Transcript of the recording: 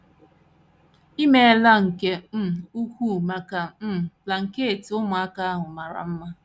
I meela nke um ukwuu maka um blanket ụmụaka ahụ mara mma.